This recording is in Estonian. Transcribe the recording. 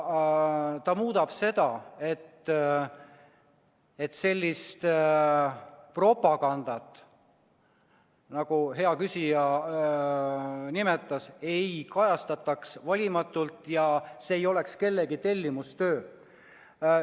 Küll aga muudab ta seda, et sellist propagandat, nagu hea küsija nimetas, ei kajastataks valimatult ja et see ei oleks kellegi tellimustöö.